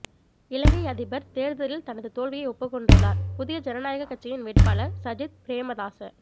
இலங்கை அதிபர் தேர்தலில் தனது தோல்வியை ஒப்புக்கொண்டுள்ளார் புதிய ஜனநாயக கட்சியின் வேட்பாளர் சஜித் பிரேமதாச